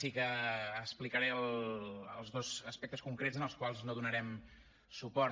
sí que explicaré els dos aspectes concrets als quals no donarem suport